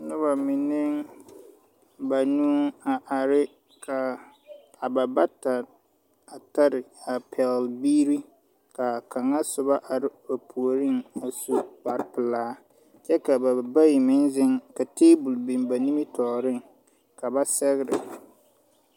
Nuba mene banuu a arẽ ka ba bata tare a pɛgli biiri kaa kanga suba arẽ ba poɔring a su kpare pelaa kye ka ba bayi meng zeng ka tabol bing ba nimitoɔring kaba segrɛ.